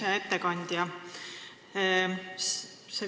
Hea ettekandja!